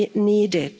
we need